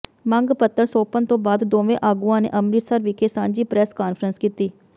ਮੰਗ ਪੱਤਰ ਸੌਂਪਣ ਤੋਂ ਬਾਅਦ ਦੋਵੇਂ ਆਗੂਆਂ ਨੇ ਅੰਮ੍ਰਿਤਸਰ ਵਿਖੇ ਸਾਂਝੀ ਪ੍ਰੈਸ ਕਾਨਫਰੰਸ ਕੀਤੀ